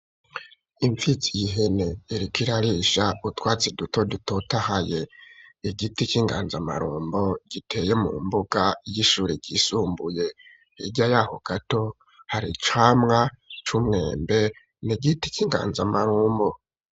Impfizi yihene, irikirarisha utwatsi duto dutotahaye ,igiti c'inganzamarumbo giteye mu mbuga y'ishuri ryisumbuye, hirya yaho gato, hari camwa c'umwembe nigiti c'inganzamarumbo.